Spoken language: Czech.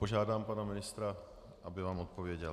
Požádám pana ministra, aby vám odpověděl.